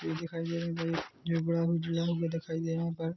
बच्चे दिखाई दे रहे हैं ये बड़ा उजड़ा हुआ दिखाई दे रहा है यहाँ पर--